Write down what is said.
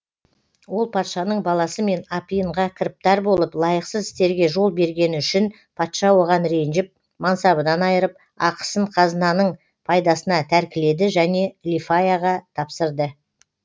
ол патшаның баласымен апиынға кіріптар болып лайықсыз істерге жол бергені үшін патша оған ренжіп мансабынан айырып ақысын қазынаның пайдасына тәркіледі және лифаяға тапсырды